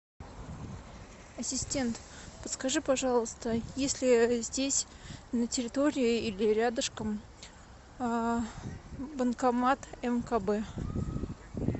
ассистент подскажи пожалуйста есть ли здесь на территории или рядышком банкомат мкб